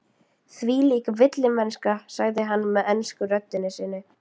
Þvílík villimennska, sagði hann með ensku röddinni sinni.